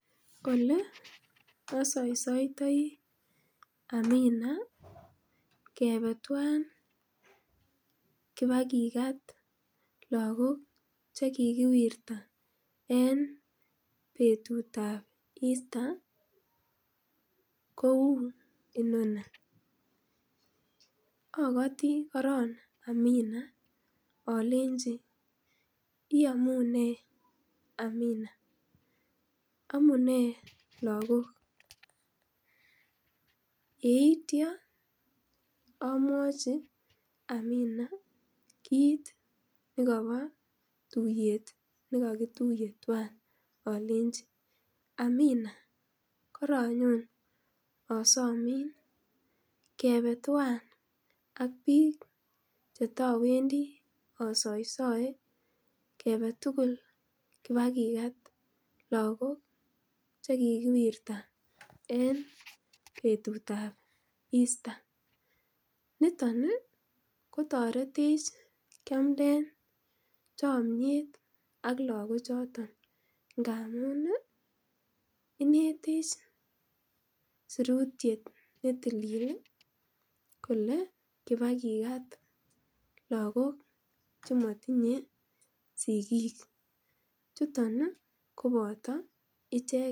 Ole osoisoitoi Amina kebe twan kibakikat lakok chekikiwirta en betutab Easter kou inoni okotii korong Amina olenji iyomunee Amina amunee lakok yeitya amwochi Amina kit nekobo tuiyet nekokituiye twan olenji Amina koronyon asomin kebe twan ak biik chetowendii asoesoe kebe tugul kibakikat lakok chekikiwirta en betutab Easter niton kotoretech kiamden chomyet ak lakok choton ngamun ih inetech sirutyet netilil ih kole kibakikat lakok chemotinye sigik chuton koboto icheket